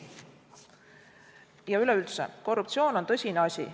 Ja üleüldse, korruptsioon on tõsine asi.